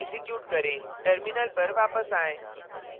execute करें terminal पर वापस आएँ